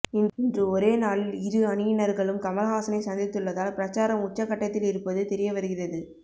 இன்று ஒரே நாளில் இரு அணியினர்களும் கமல்ஹாசனை சந்தித்துள்ளதால் பிரச்சாரம் உச்சகட்டத்தில் இருப்பது தெரிய வருகிறது